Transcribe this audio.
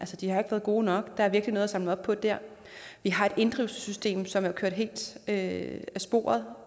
de har været gode nok der er virkelig noget at samle op på der vi har et inddrivelsessystem som kører helt af sporet